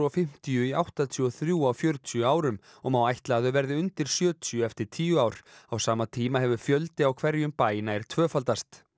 fimmtíu í áttatíu og þrjú á fjörutíu árum og má ætla að þau verði undir sjötíu eftir tíu ár á sama tíma hefur fjöldi á hverjum bæ nær tvöfaldast